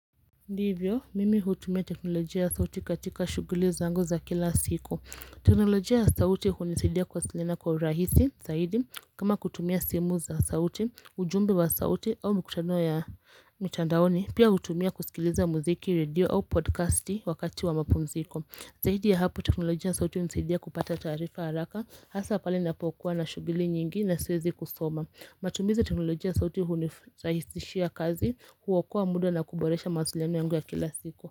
Ndivyo, mimi hutumia teknolojia ya sauti katika shughuli zangu za kila siku. Teknolojia ya sauti hunisidia kuwasiliana kwa urahisi, zaidi, kama kutumia simu za sauti, ujumbe wa sauti au mkutano ya mtandaoni, pia hutumia kusikiliza muziki, redio au podkasti wakati wa mapumziko. Zahidi ya hapo teknolojia ya sauti hunisidia kupata tarifa haraka hasa pale napokuwa na shughuli nyengine siwezi kusoma. Matumizi teknolojia sauti unirahisishia kazi huokoa muda na kuboresha mawasiliano yangu ya kila siku.